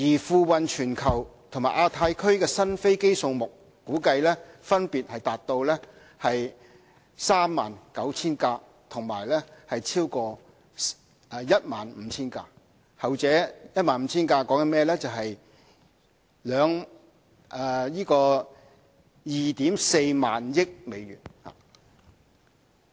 付運全球和亞太區的新飛機數目估計分別達到 39,000 架和超過 15,000 架，後者 15,000 架牽涉 24,000 億美元。